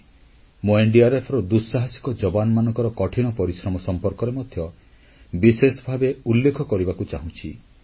ମୁଁ ରାଷ୍ଟ୍ରୀୟ ବିପର୍ଯ୍ୟୟ ପ୍ରଶମନ ବାହିନୀNDRFର ଦୁଃସାହାସିକ ଯବାନମାନଙ୍କ କଠିନ ପରିଶ୍ରମ ସମ୍ପର୍କରେ ମଧ୍ୟ ବିଶେଷ ଭାବେ ଉଲ୍ଲେଖ କରିବାକୁ ଚାହୁଁଛି